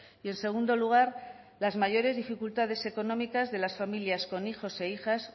y en segundo lugar las mayores dificultades económicas de las familias con hijos e hijas